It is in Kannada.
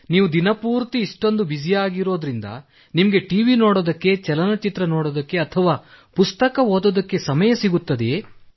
ನೀವು ದಿನ ಪೂರ್ತಿ ಇಷ್ಟೊಂದು ಬ್ಯುಸಿಯಾಗಿರುತ್ತೀರಾದ್ದರಿಂದ ನಿಮಗೆ ಟಿವಿ ನೋಡಲು ಚಲನಚಿತ್ರ ನೋಡಲು ಅಥವಾ ಪುಸ್ತಕ ಓದಲು ಸಮಯ ಸಿಗುತ್ತದೆಯೇ